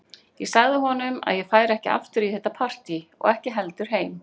Ég sagði honum að ég færi ekki aftur í þetta partí og ekki heldur heim.